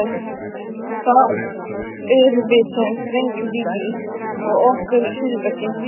Það erum við sem sprengjum, Dídí, og okkar eru hryðjuverkin.